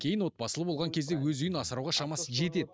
кейін отбасылы болған кезде өз үйін асырауға шамасы жетеді